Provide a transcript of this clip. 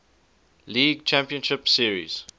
league championship series